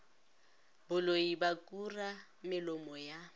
boloi ba kura melomo ya